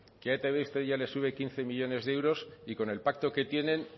que a etb usted ya les sube quince millónes de euros y con el pacto que tienen